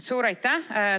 Suur aitäh!